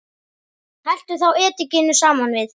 Helltu þá edikinu saman við.